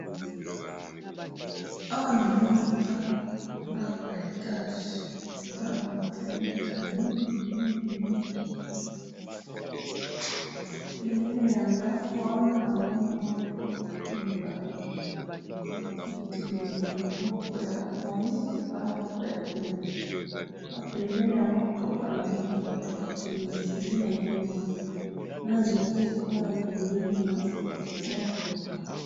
awa na moni ndaku ndaku ya etage eza naba fenetre mingi pembeni ya ndaku wana na moni mutuka mibale etelemi moko ya moido na moko ya pembe na pembeni ya mutuka na moni batu ba telemi nde nazo mona na nzete kuna pembeni ya mutuka